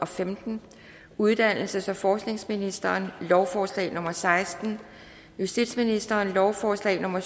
femten uddannelses og forskningsministeren lovforslag nummer l seksten justitsministeren lovforslag nummer